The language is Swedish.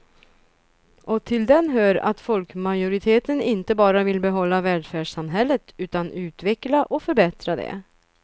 Och till den hör att folkmajoriteten inte bara vill behålla välfärdssamhället utan utveckla och förbättra det.